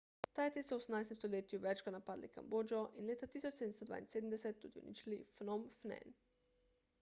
tajci so v 18 stoletju večkrat napadli kambodžo in leta 1772 tudi uničili phnom phen